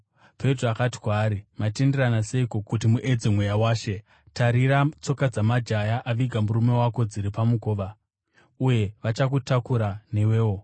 Petro akati kwaari, “Matenderana seiko kuti muedze Mweya waShe? Tarira! Tsoka dzamajaya aviga murume wako dziri pamukova, uye vachakutakura newewo.”